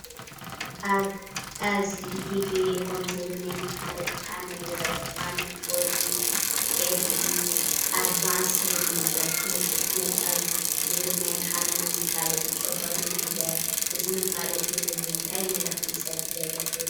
ኣብዚ “ኢትዮ ቴሌኮም” ዝብል ናይ መፋለጢ ፓነል ይርአ። እቲ ፓነል “4G LTE ኣድቫንስ” ዝብል ይንበብ፣ “ፍሉይ ፍጥነት” ዝብል ናይ ኣምሓርኛ መፋለጢ ጭርሖ ድማ ይርአ። እዚ መፋለጢ ንህዝቢ እንታይ መልእኽቲ ይሰድድ ኣሎ ትብሉ?